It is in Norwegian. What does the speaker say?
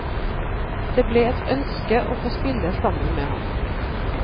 Det ble et ønske å få spille sammen med ham.